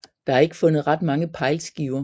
Der er ikke fundet ret mange pejlskiver